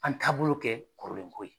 An taabolo kɛ kɔrɔlenko ye.